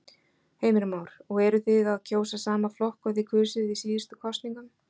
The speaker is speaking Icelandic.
Heimir Már: Og eruð þið að kjósa sama flokk og þið kusuð í síðustu kosningum?